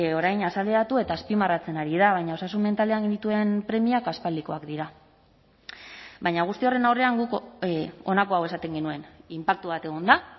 orain azaleratu eta azpimarratzen ari da baina osasun mentalean genituen premiak aspaldikoak dira baina guzti horren aurrean guk honako hau esaten genuen inpaktu bat egon da